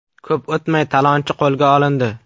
Ko‘p o‘tmay, talonchi qo‘lga olindi.